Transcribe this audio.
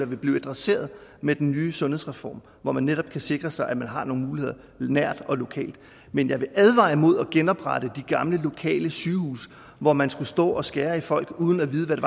vil blive adresseret med den nye sundhedsreform hvor man netop kan sikre sig at man har nogle muligheder nært og lokalt men jeg vil advare imod at genoprette de gamle lokale sygehuse hvor man skulle stå og skære i folk uden at vide hvad det